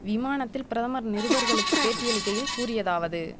விமானத்தில் பிரதமர் நிருபர்களுக்கு பேட்டியளிக்கையில் கூறியதாவது